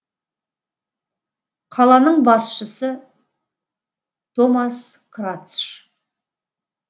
қаланың басшысы томас крацш